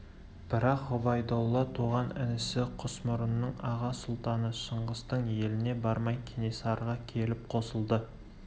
бірақ ғұбайдолла туған інісі құсмұрынның аға сұлтаны шыңғыстың еліне бармай кенесарыға келіп қосылды